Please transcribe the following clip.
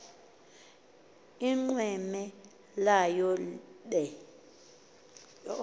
inqweme layo be